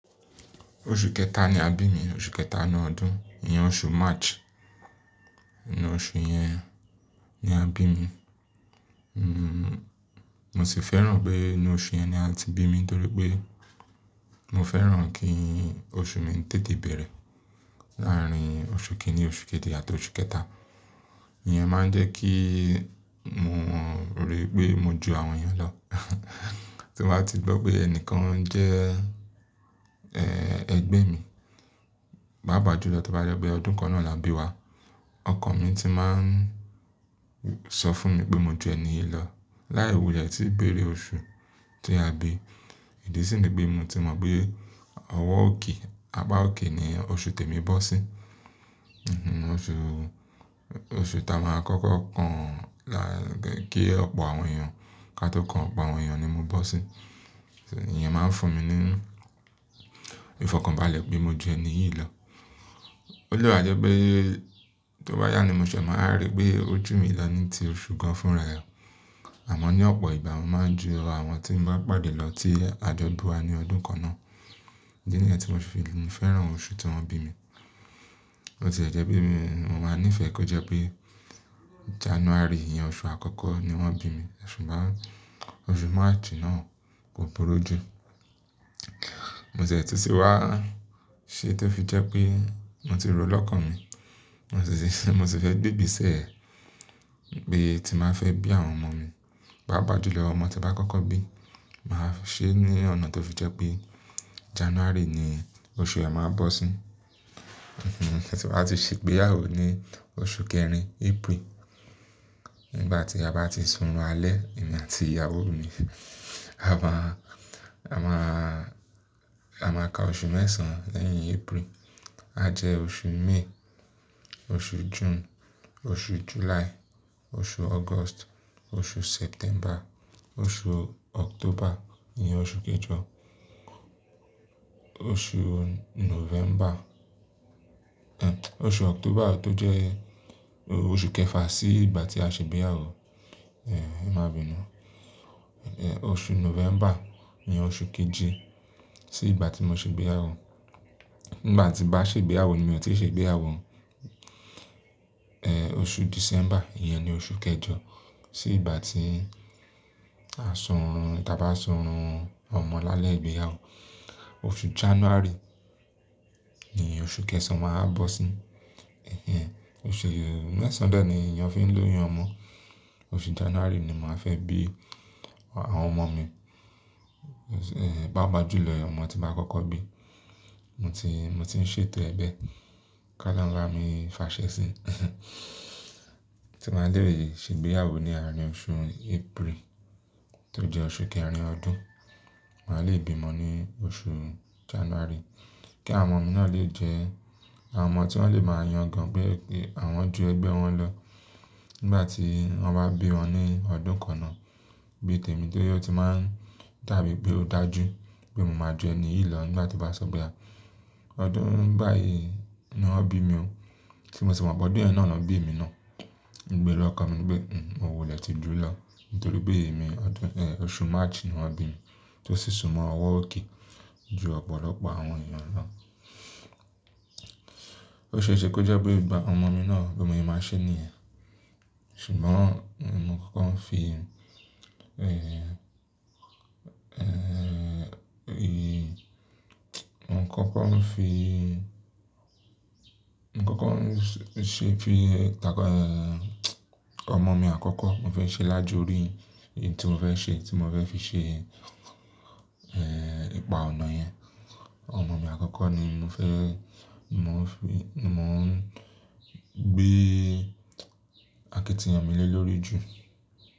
Oṣù kẹta ni a bí mi, oṣù kẹta inú ọdún. Iyen oṣù March. Inú oṣù yẹn ni a bí mi. Mo sì fẹ́ràn pé inú oṣù yẹn ni a ti bí mi nítorí pé mo fẹ́ràn kí oṣù mi tètè bẹ̀rẹ̀ láàárín oṣù kìíní, oṣù kejì àti oṣù kẹta. Iyẹn máa ń jẹ́ kí mo rí pé mo ju àwọn èèyàn lọ. Tí mo bá ti gbọ́ pé ẹni kan jẹ́, eh, ẹgbẹ́ mi, bá bàjú lọ tí ó bá dọ̀ pé ọdún kan náà là bí wa, ọkọ mi ti máa ń sọ fún mi pé mo ju ẹni yìí lọ. Láì wúlẹ̀ tí bẹ̀rẹ̀ oṣù tí a bí. Ìdí sì ni pé mo ti mọ̀ pé ọwọ́ òkè, agbá òkè ni oṣù tèmi bọ́ sí. Oṣù, oṣù tá a máa kọ́kọ́ kàn lá-- kí ọ̀pọ̀ àwọn èèyàn ka tó kàn, ọ̀pọ̀ àwọn èèyàn ni mo bọ́ sí. Ìyẹn máa ń fún mi ní ìfọkànbalẹ̀ pé mo ju ẹni yìí lọ. Ó lè wa jẹ́ pé tó bá yá ni mo ṣẹ̀ máa rí pé ó jù mí lọ ní ti oṣù kan fúnra ẹ. Àmọ́ ní ọ̀pọ̀ ìgbà mo máa ń ju àwọn tí n bá pàdé lọ tí àjo bi wa ní ọdún kan náà. Ìdí nìyẹn tí mo fi fẹ́ràn oṣù tí wọ́n bí mi. Ó sì jẹ́ pé mi ò máa níìfẹ̀ kó jẹ́ pé January, ìyẹn oṣù àkọ́kọ́ ni wọ́n bí mi. Ṣùgbọ́n oṣù March náà kò burú jú. Mo sì tìsí wá ṣé tó fi jẹ́ pé mo ti ro lọ́kàn mi. Mo sì fẹ́ gbe ìbí sẹ̀, bí pẹ ti ba fẹ́ bí àwọn ọmọ mi. Pá pàjú lọ ọmọ tí bá kọ́kọ́ bí, màá ṣe ní ọ̀nà tó fi jẹ́ pé January ni oṣù ẹ máa bọ́ sí. Tí wọá ti ṣe pé ìyàwó ní oṣù kẹrin, April. Nígbà tí a bá ti sun alẹ́, èmi àti ìyàwó mi, a máa, a máa, a máa ka oṣù mẹ́sàn-án lẹ́yìn April. A jẹ oṣù May, oṣù June, oṣù July, oṣù August, oṣù September, oṣù October, iyẹn oṣù kejọ, oṣù November. Oṣù October tó jẹ́ oṣù kẹfà sí ìgbà tí a ṣe ìgbéyàwó, eh, ẹ má binu. Oṣù November ni oṣù keje sí ìgbà tí mo ṣe ìgbéyàwó. Nígbà tí bá ṣe ìgbéyàwó ni mi o ti ṣe ìgbéyàwó. Eh, oṣù December, iyẹn ni oṣù kẹjọ sí ìgbà tí a sunrun, tí a bá sunrun ọmọ lálẹ́ ìgbéyàwó. Oṣù January ni oṣù kẹsàn-án màá bọ́ sí. Oṣù mẹ́sàn-án de ni èèyàn fi ń lóyún ọmọ. Oṣù January ni màá fẹ́ bí àwọn ọmọ mi. Pá pàjú lọ ọmọ tí bá kọ́kọ́ bí, mo ti, mo ti ń ṣètò ẹ bẹ́ẹ̀. Ki olohun ba mi fàá ṣẹ́ sí. Tí mo bá lé ṣe ìgbéyàwó ní àárín oṣù April tó jẹ́ oṣù kẹrin ọdún, màá le bí ọmọ ní oṣù January. Kí àwọn ọmọ mi náà lè jẹ́ àwọn ọmọ tí wọ́n lè máa yan gan pé àwọn ju ẹgbẹ́ wọn lọ. Nígbà tí wọ́n bá bí wọn ní ọdún kan náà, bí tèmi tí ó ti máa ń dàbí pé ó dà jú pé mo máa ju ẹni yìí lọ nígbà tí bá sọ̀ pe a. Ọdún báyìí ni wọ́n bí mi. Tí mo sì mọ̀ pé ọdún náà ni wọ́n bí mi náà, ìgbéro ọkọ mi ni pé nǹkan ò lè ti dúró lọ nítorí pé èmi ọdún, eh, oṣù March ni wọ́n bí mi tó sì sunmọ ọwọ́ òkè ju ọ̀pọ̀lọpọ̀ àwọn èèyàn lọ. Ó ṣe é ṣe kó jẹ́ pé ìgbà ọmọ mi náà, bí mo yẹn máa ṣe ní ẹ. Ṣùgbọ́n mo kọ́kọ́ ń fi, eh, eh, mo kọ́kọ́ ń fi, mo kọ́kọ́ ń ṣe fi, ta-- ọmọ mi àkọ́kọ́ mo fẹ́ ṣe lájú rí èyí tí mo fẹ́ ṣe, tí mo fẹ́ fi ṣe, eh, ìpà ọ̀nà yẹn. Ọmọ mi àkọ́kọ́ ni mo fẹ́, mo ń fi, mo ń gbé akitiyan mi lé lórí jù.